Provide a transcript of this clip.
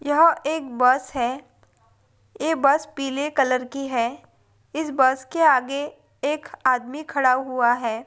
यह एक बस है। ए बस पीले कलर की है। इस बस के आगे एक आदमी खड़ा हुआ है।